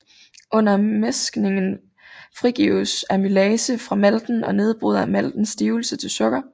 Under mæskningen frigives amylase fra malten og nedbryder maltens stivelse til sukker